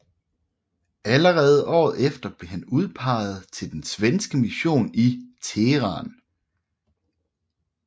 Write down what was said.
Allerede året efter blev han udpeget til den svenske mission i Teheran